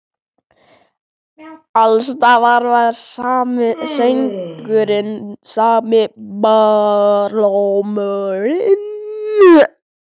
Alls staðar var sami söngurinn, sami barlómurinn.